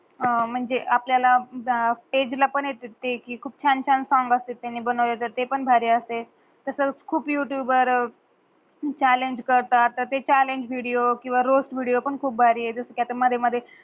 म्हंजे आपल्याला एज ला पण खूप छान छान सॉंग अस्तात तेंही बनव्या साटी ते पण भारी अस्तात. तास खूप युटूब वर चालेंज करतात ते चालेंज विडीयो किव्हा Roast विदिओ खूप भारी आहे तस कि अत्ता मधे मधे